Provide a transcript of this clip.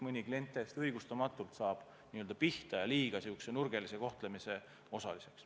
Mõni klient saab täiesti õigustamatult pihta ja liiga järsu kohtlemise osaliseks.